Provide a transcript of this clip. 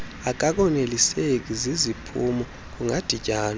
akakoneliseki ziziphumo kungadityanwa